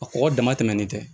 A kɔgɔ dama tɛmɛnen tɛ